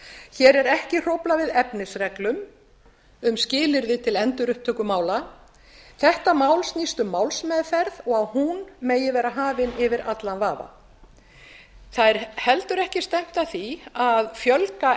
hér er ekki hróflað við efnisreglum um skilyrði til endurupptöku mála þetta mál snýst um málsmeðferð og að hún megi vera hafin yfir allan vafa það er heldur ekki stefnt að því að fjölga